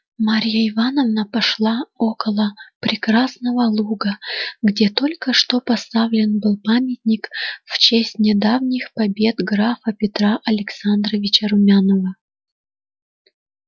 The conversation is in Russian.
марья ивановна пошла около прекрасного луга где только что поставлен был памятник в честь недавних побед графа петра александровича румянова